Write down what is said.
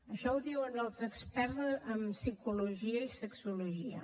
això ho diuen els experts en psicologia i sexologia